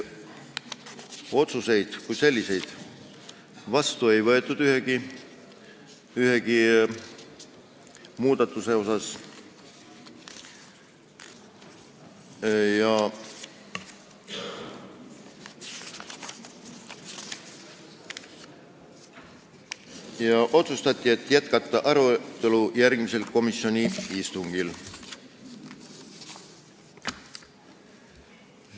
Otsuseid kui selliseid ühegi muudatusettepaneku kohta vastu ei võetud ja otsustati jätkata arutelu järgmisel komisjoni istungil.